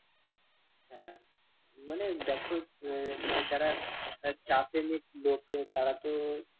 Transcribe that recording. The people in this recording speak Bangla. মানে দেখো আহ যারা চা প্রেমিক লোক তারা তো